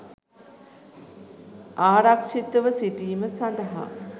ආරක්ෂිතව සිටීම සඳහා